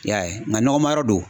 I y'a ye nka nɔgɔma yɔrɔ do.